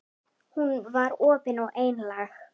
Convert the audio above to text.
Hún var opin og einlæg.